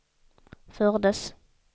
fördes